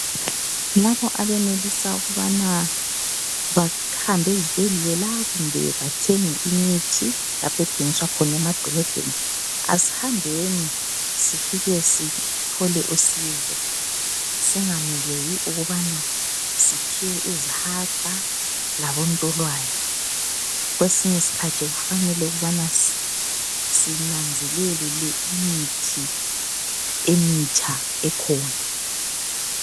Labo abenelisa ukubana bahambe ezibhedlela kumbe bathenge imithi lapho ethengiswa khona emadolobheni asihambeni sifike sithole usizo, singameleli ukubana siphiwe izihaqa labontolwane kwesinye isikhathi kufanele ukubana sinanzelele imithi emitsha ekhona.